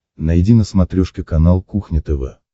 найди на смотрешке канал кухня тв